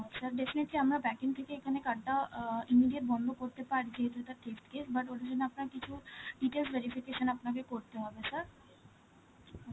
sir definitely আমরা backend থেকে এখানে card টা অ্যাঁ immediate বন্ধ করতে পারছি, but ওটার জন্য আপনাকে কিছু details verification আপনাকে করতে হবে sir